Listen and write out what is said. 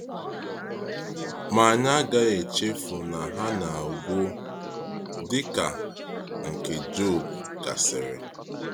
Ma anyị agaghị echefu na ha na-agwụ, dịka nke Jọb gasịrị.